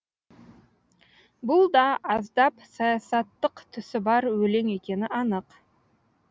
бұл да аздап саясаттық түсі бар өлең екені анық